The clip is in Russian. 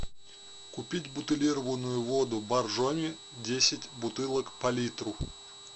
купить бутилированную воду боржоми десять бутылок по литру